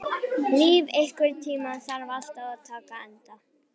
Líf, einhvern tímann þarf allt að taka enda.